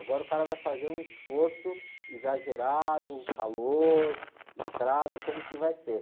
Agora o cara vai fazer um esforço exagerado, calor, estrada, como que vai ser?